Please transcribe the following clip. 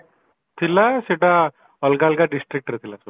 ଥିଲା ସେଟା ଅଲଗା ଅଲଗା districtରେ ଥିଲା ସବୁ